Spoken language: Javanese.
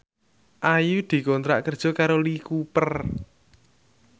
Ayu dikontrak kerja karo Lee Cooper